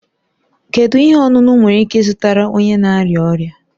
Kedu ihe ọṅụṅụ m nwere ike ịzụtara onye na arịa ọrịa?